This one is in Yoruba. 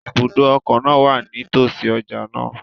Ibùdó ọkọ̀ náà wà nítọ̀sí ọjà náà